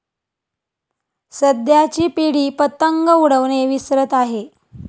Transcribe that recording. सध्याची पिढी पतंग उडवणे विसरत आहे.